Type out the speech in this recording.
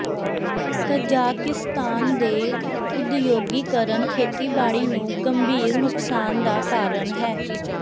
Kazakhstan ਦੇ ਉਦਯੋਗੀਕਰਨ ਖੇਤੀਬਾੜੀ ਨੂੰ ਗੰਭੀਰ ਨੁਕਸਾਨ ਦਾ ਕਾਰਨ ਹੈ